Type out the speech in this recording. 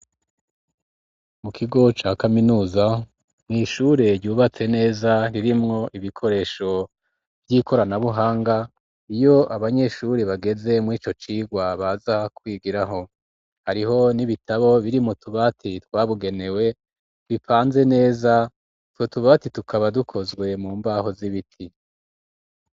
Mu kigo ca kaminuza mw,ishure ryubatse neza ririmwo ibikoresho vy'ikoranabuhanga, iyo abanyeshuri bageze mw'ico cigwa baza kwigiraho, hariho n'ibitabo biri mu tubati twabigenewe bipanze neza, utwo tubati tukaba dukozwe mu mbaho z'ibiti.